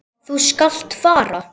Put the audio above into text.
Þú skalt fara.